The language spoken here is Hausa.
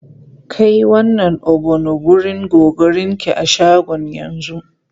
Kai wannan ogbono wurin Gogorinki a shagon yanzu!